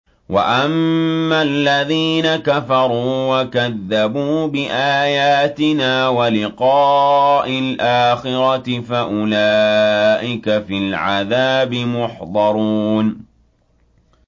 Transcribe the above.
وَأَمَّا الَّذِينَ كَفَرُوا وَكَذَّبُوا بِآيَاتِنَا وَلِقَاءِ الْآخِرَةِ فَأُولَٰئِكَ فِي الْعَذَابِ مُحْضَرُونَ